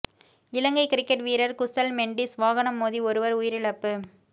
இலங்கை cricket வீரர் குசல் மெண்டீஸ் வாகனம் மோதி ஒருவர் உயிரிழப்பு